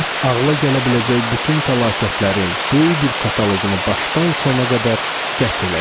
Biz ağla gələ biləcək bütün fəlakətlərin böyük bir kataloqunu başdan sona qədər qət elədik.